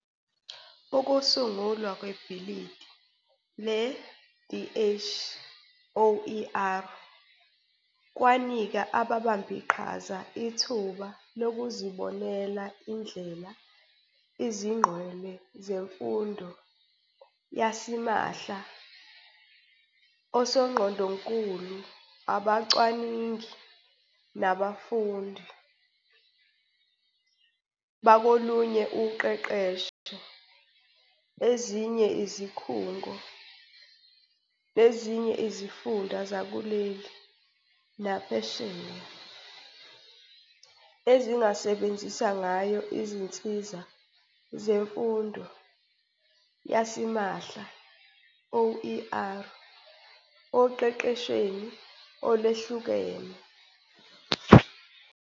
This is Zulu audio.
Ukusungulwa kwebhidli le- DH-OER kwanika ababambiqhaza ithuba lokuzibonela indlela izingqwele zemfundo yasimahla, osongqondonkulu, abacwaningi, nabafundi, bakolunye uqeqesho, ezinye izikhungo, nezinye izifunda zakuleli, naphesheya, ezingasebenzisa ngayo izinsiza zemfundo yasimahla, OER, oqeqeshweni oluhlukene.